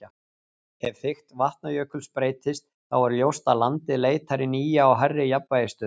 Ef þykkt Vatnajökuls breytist, þá er ljóst að landið leitar í nýja og hærri jafnvægisstöðu.